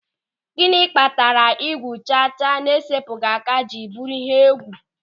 Gịnị kpatara igwu chacha na-esepụghị aka jiri bụrụ ihe egwu.